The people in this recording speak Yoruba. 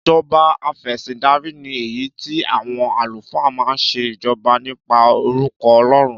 Ìjọba afẹ̀sìndarí ni èyí tí àwọn àlùfáà máa ń ṣe ìjọba nípa orúkọ Ọlọ́run.